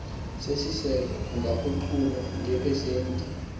siseko ungaguqulwa ngepesenti